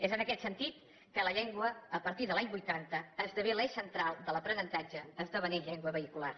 és en aquest sentit que la llengua a partir de l’any vuitanta esdevé l’eix central de l’aprenentatge esdevenint llengua vehicular